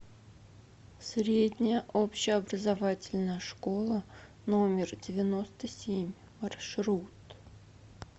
средняя общеобразовательная школа номер девяносто семь маршрут